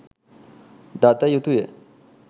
දත යුතුය